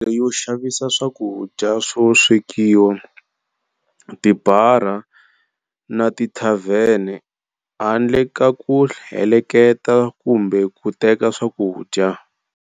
Mavhengele yo xavisa swakudya swo swekiwa, tibara na tithavhene, handle ka ku heleketa kumbe ku teka swakudya.